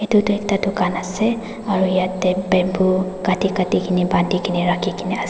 edu ekta dukan ase aro yatae bamboo kati Kati kaena bandikena rakhikaena ase--